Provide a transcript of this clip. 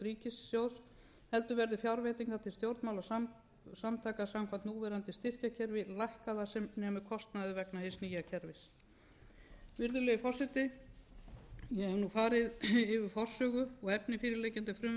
heldur verði fjárveitingar til stjórnmálasamtaka samkvæmt núverandi styrkjakerfi lækkað að sem nemur kostnaði vegna hins nýja kerfis virðulegi forseti ég hef nú farið yfir forsögu og efni fyrirliggjandi frumvarps um